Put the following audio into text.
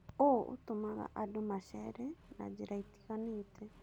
ũũ ũtũmaga andũ macere na njĩra itiganĩte.